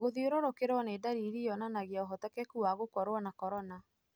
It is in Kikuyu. Gũthiũrũkĩrũo nĩ ndariri yonanagia ũhotekeku wa gũkorwo na corona.